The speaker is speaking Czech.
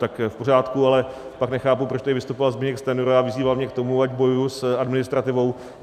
Tak v pořádku, ale pak nechápu, proč tady vystupoval Zbyněk Stanjura a vyzýval mě k tomu, ať bojuji s administrativou.